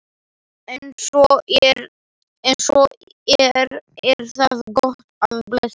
Ef svo er er það gott og blessað.